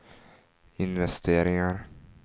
investeringar